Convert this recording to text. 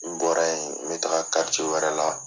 N bɔra yen n bɛ taga wɛrɛ la.